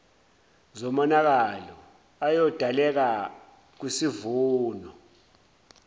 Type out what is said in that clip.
zomonakalo oyodaleka kwisivuno